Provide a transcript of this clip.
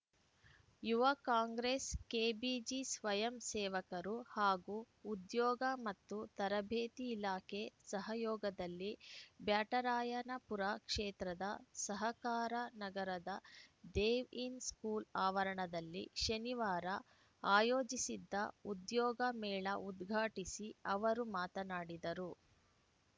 ಯುವ ಕಾಂಗ್ರೆಸ್‌ ಕೆಬಿಜಿ ಸ್ವಯಂ ಸೇವಕರು ಹಾಗೂ ಉದ್ಯೋಗ ಮತ್ತು ತರಬೇತಿ ಇಲಾಖೆ ಸಹಯೋಗದಲ್ಲಿ ಬ್ಯಾಟರಾಯನಪುರ ಕ್ಷೇತ್ರದ ಸಹಕಾರನಗರದ ದೇವ್‌ ಇನ್‌ ಸ್ಕೂಲ್‌ ಆವರಣದಲ್ಲಿ ಶನಿವಾರ ಆಯೋಜಿಸಿದ್ದ ಉದ್ಯೋಗ ಮೇಳ ಉದ್ಘಾಟಿಸಿ ಅವರು ಮಾತನಾಡಿದರು